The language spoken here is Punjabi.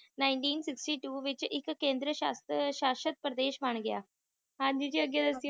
Nineteen sixty two ਵਿੱਚ ਇਕ ਕੇਂਦਰ ਸ਼ਾਸ਼ਿ ਸ਼ਾਸ਼ਿਤ ਪ੍ਰਦੇਸ਼ ਬਣ ਗਿਆ ਹਾਂਜੀ ਜੀ ਅੱਗੇ ਦੱਸਿਓ